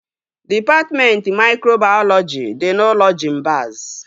Dịpatmentị maikrobayọlọji dị n'ụlọ Jimbaz